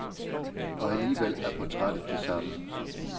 Og alligevel er portrættet det samme.